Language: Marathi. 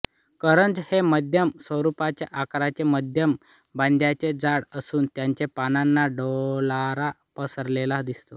करंज हे मध्यम स्वरूपाचे आकारचे मध्यम बांध्याचे झाड असून त्याच्या पानांचा डोलारा पसरलेला दिसतो